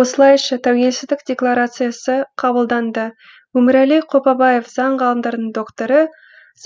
осылайша тәуелсіздік декларациясы қабылданды өмірәлі қопабаев заң ғылымдарының докторы